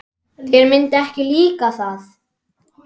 Þér myndi ekki líka það.